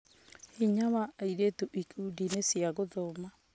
Hinya wa airĩtu ikundiinĩ cia gũthoma